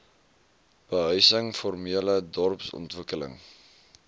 behuising formele dorpsontwikkeling